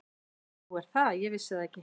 Nú er það, ég vissi það ekki.